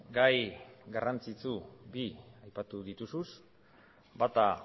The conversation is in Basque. gai garrantzitsu bi aipatu dituzu bata